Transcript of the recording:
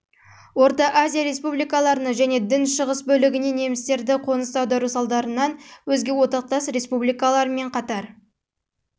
орта азия республикаларына және дің шығыс бөлігіне немістерді қоныс аудару салдарынан өзге одақтас республикалармен қатар